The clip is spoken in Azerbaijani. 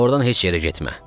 Ordan heç yerə getmə.